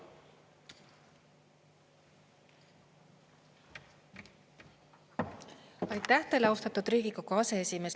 Aitäh teile, austatud Riigikogu aseesimees!